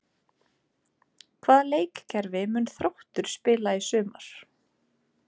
Hvaða leikkerfi mun Þróttur spila í sumar?